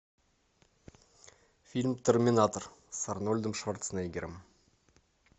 фильм терминатор с арнольдом шварценеггером